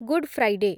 good Friday